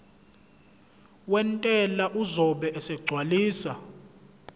wentela uzobe esegcwalisa